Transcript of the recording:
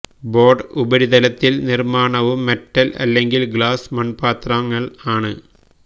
board ഉപരിതലത്തിൽ നിർമ്മാണവും metal അല്ലെങ്കിൽ ഗ്ലാസ് മൺപാത്രങ്ങൾ ആണ്